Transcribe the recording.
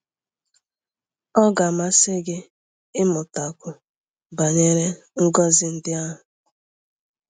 Ọ ga-amasị gị ịmụtakwu banyere ngọzi ndị ahụ?